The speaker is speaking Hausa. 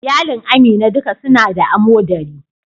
Iyalin Amina duka su na da amodari.